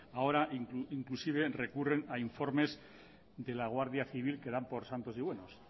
ahora inclusive recurren a informes de la guardia civil que dan por santos y buenos